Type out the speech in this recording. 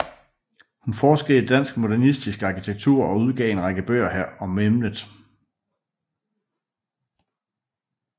Hun forskede i dansk modernistisk arkitektur og udgav en række bøger om emnet